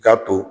I k'a to